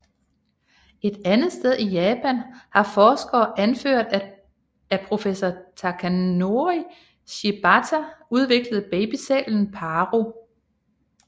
Et andet sted i Japan har forskere anført af professor Takanori Shibata udviklet babysælen Paro